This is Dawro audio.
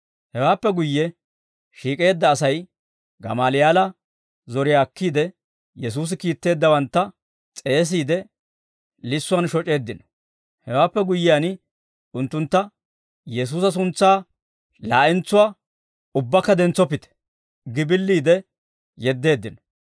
Hewaappe guyye shiik'eedda Asay Gamaaliyaala zoriyaa akkiide, Yesuusi kiitteeddawantta s'eesiide, lissuwaan shoc'isseeddino; hewaappe guyyiyaan unttuntta, «Yesuusa suntsaa laa'entsuwaa ubbakka dentsoppite» gi billiide yeddeeddino.